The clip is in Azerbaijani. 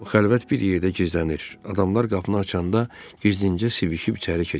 O xəlvət bir yerdə gizlənir, adamlar qapını açanda gizlincə sivişib içəri keçirdi.